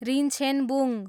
Rinchhenbung